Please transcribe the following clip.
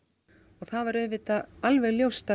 og það var alveg ljóst að